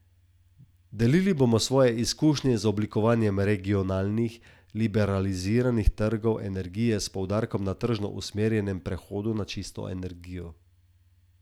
Delili bomo svoje izkušnje z oblikovanjem regionalnih, liberaliziranih trgov energije s poudarkom na tržno usmerjenem prehodu na čisto energijo.